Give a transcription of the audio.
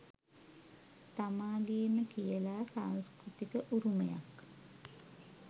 තමාගේම කියලා සංස්කෘතික උරුමයක්